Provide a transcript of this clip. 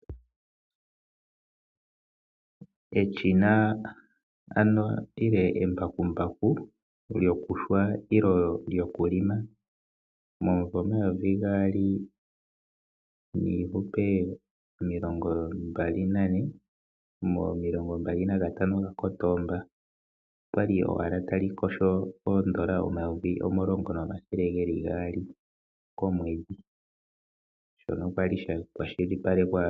Eshina nenge eembakumbaku lyokuyungula nenge lyokulima ,momumvo omayovi gaali niihupe omilongombali nane momilongo mbali nagatano ga kotoomba olyali owala talikosho oondola dha Namibia omayovi omulongo shono kwali sha kwashilipalekwa kombaanga yo Bank Windhoek.